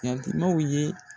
Yatimɛw ye.